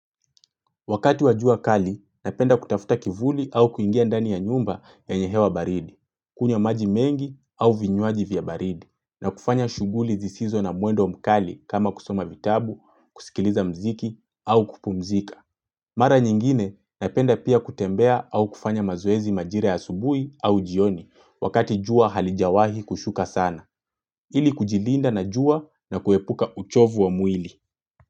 Wakati wa jua kali, napenda kutafuta kivuli au kuingia ndani ya nyumba ya yenye hewa baridi, kunywa maji mengi au vinywaji vya baridi, na kufanya shughuli zisizo na mwendo mkali kama kusoma vitabu, kusikiliza mziki au kupumzika. Mara nyingine, napenda pia kutembea au kufanya mazoezi majira asubuhi au jioni wakati jua halijawahi kushuka sana, ili kujilinda na jua na kuepuka uchovu wa mwili.